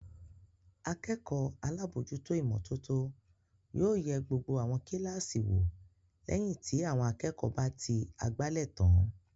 Akẹ́kọ̀ọ́ alábòójútó ìmọ́tótó yóò yẹ gbogbo àwọn kíláàsì wò lẹ́yìn tí àwọn akẹ́kọ̀ọ́ bá ti àgbálẹ̀ tán.